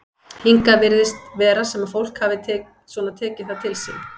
Hingað virðist vera sem að fólk hafi svona tekið það til sín?